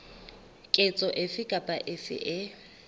ketso efe kapa efe e